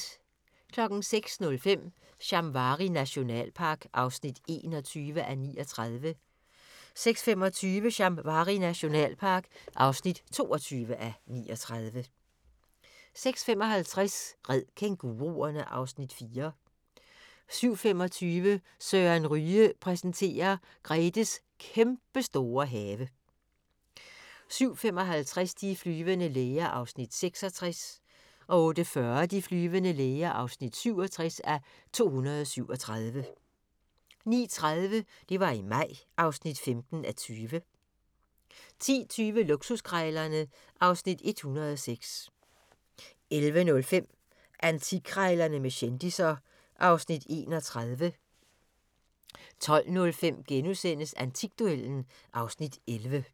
06:05: Shamwari nationalpark (21:39) 06:25: Shamwari nationalpark (22:39) 06:55: Red kænguruerne! (Afs. 4) 07:25: Søren Ryge præsenterer: Gretes kæmpestore have 07:55: De flyvende læger (66:237) 08:40: De flyvende læger (67:237) 09:30: Det var i maj (15:20) 10:20: Luksuskrejlerne (Afs. 106) 11:05: Antikkrejlerne med kendisser (Afs. 31) 12:05: Antikduellen (Afs. 11)*